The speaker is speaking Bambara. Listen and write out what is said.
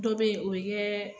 Dɔ be yen o bi kɛ